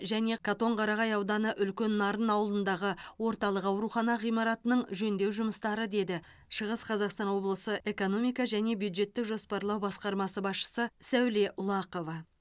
және катонқарағай ауданы үлкен нарын ауылындағы орталық аурухана ғимаратының жөндеу жұмыстары деді шығыс қазақстан облысы экономика және бюджеттік жоспарлау басқармасы басшысы сәуле ұлақова